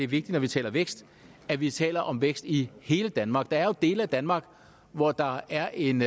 vigtigt når vi taler vækst at vi taler om vækst i hele danmark der er jo dele af danmark hvor der er en